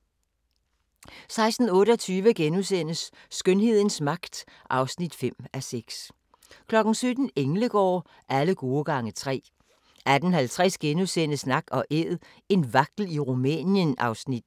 16:28: Skønhedens magt (5:6)* 17:00: Englegård – alle gode gange tre 18:50: Nak & Æd – en vagtel i Rumænien (Afs. 9)*